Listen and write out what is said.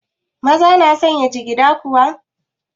Maza na sanya jigida kuwa?